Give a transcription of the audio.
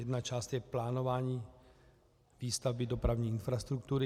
Jedna část je plánování výstavby dopravní infrastruktury.